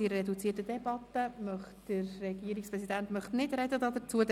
Der Regierungspräsident will nicht dazu sprechen.